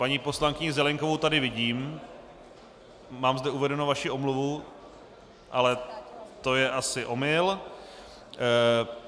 Paní poslankyni Zelienkovou tady vidím, mám zde uvedenou vaši omluvu, ale to je asi omyl.